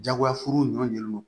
Jagoya furu ɲɔn